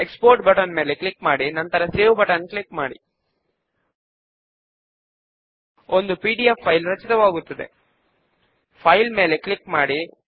ఇప్పుడు మనము కొన్ని మార్పులు చేయబోతున్నాము కనుక మోడిఫై ఫార్మ్ ఆప్షన్ పైన క్లిక్ చేద్దాము